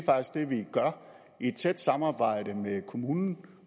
vi gør i et tæt samarbejde med kommunen